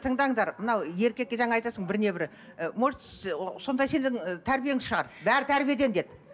тыңдаңдар мынау еркекке жаңа айтасың біріне бірі ы может сонда сенің тәрбиең шығар бәрі тәрбиеден деді